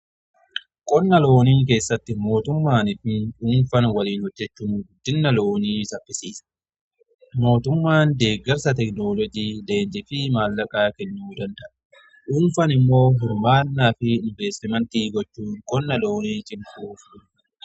Qonna loonii keessatti mootummaanii fi dhuunfan waliin hojjechuun guddinna loonii saffisiisa. Mootummaan deeggarsa tekinoloojii deenji fi maallaqaa kennuu danda'a. dhuunfan immoo hirmaannaa fi inveestimentii gochuun kan loon fayyadudha.